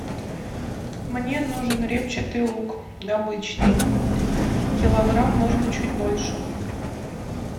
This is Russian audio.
мне нужен репчатый лук обычный килограмм можно чуть больше